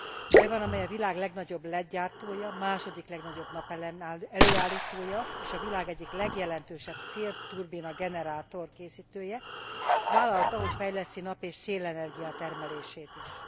Tajvan, amely a világ legnagyobb led gyártója, második legnagyobb napelem előállítója, és a világ egyik legjelentősebb szélturbina generátor készítője, vállalta, hogy fejleszti nap és szélenergia termelését is.